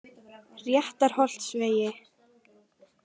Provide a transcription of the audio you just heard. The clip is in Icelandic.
Réttarholtsvegi